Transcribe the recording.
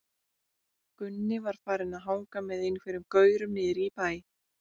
Gunni var farinn að hanga með einhverjum gaurum niðri í bæ.